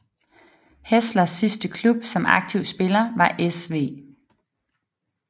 Hässlers sidste klub som aktiv spiller var SV